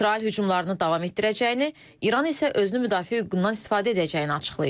İsrail hücumlarını davam etdirəcəyini, İran isə özünü müdafiə hüququndan istifadə edəcəyini açıqlayıb.